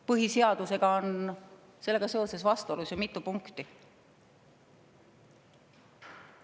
Põhiseadusega on seal vastuolus mitu punkti.